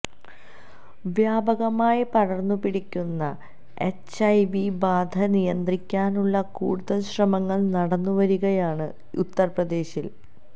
വ്യാപകമായി പടര്ന്നു പിടിക്കുന്ന എച്ച് ഐ വി ബാധ നിയന്ത്രിക്കാനുള്ള കൂടുതല് ശ്രമങ്ങള് നടന്നു വരികയാണ് ഉത്തര്പ്രദേശില്